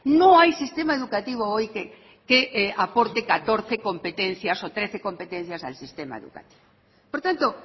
no hay sistema educativo hoy que aporte catorce competencias o trece competencias al sistema educativo por tanto